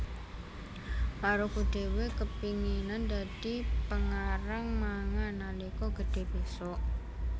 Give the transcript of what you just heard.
Maruko duwé kepinginan dadi pengarang manga nalika gedhe besok